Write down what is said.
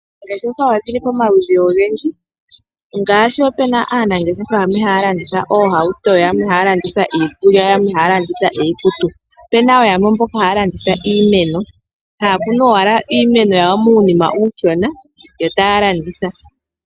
Oongeshefa oshi li pamaludhi ogendji. Opu na aanangeshefa yamwe haya landitha iihauto nayamwe haya landitha iikulya, yo yamwe ohaya landitha iikutu. Opu na wo yamwe mbono haya landitha iimeno. Ohaya kunu iimeno yawo muunima uushona yo taya landitha.